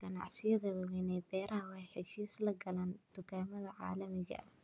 Ganacsiyada waaweyn ee beeraha waxay heshiis la galaan dukaamada caalamiga ah.